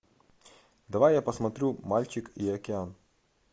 давай я посмотрю мальчик и океан